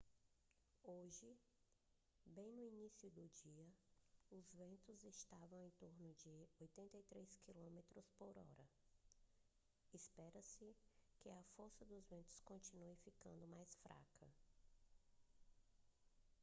hoje bem no início do dia os ventos estavam em torno de 83 quilômetros por hora espera-se que a força dos ventos continue ficando mais fraca